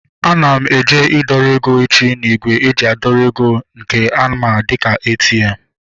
Ana m eje idọrọ ego echi n'ígwè eji adọrọ eg nke a ma dịka ATM